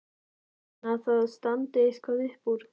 En að það standi eitthvað upp úr?